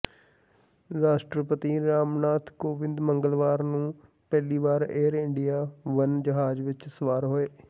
ਰਾਸ਼ਟਰਪਤੀ ਰਾਮਨਾਥ ਕੋਵਿੰਦ ਮੰਗਲਵਾਰ ਨੂੰ ਪਹਿਲੀ ਵਾਰ ਏਅਰ ਇੰਡੀਆ ਵਨ ਜਹਾਜ਼ ਵਿਚ ਸਵਾਰ ਹੋਏ